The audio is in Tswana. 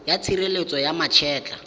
ya tshireletso ya ma etla